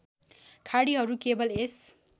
खाडीहरू केवल यस